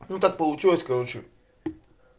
ну так получилось короче